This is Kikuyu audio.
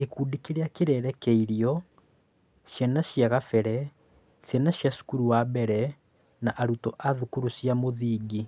Gĩkundi kĩrĩa kĩrerekeirio: Ciana cia kabere, ciana cia cukuru wa mbere, na arutwo a thukuru cia mũthingi.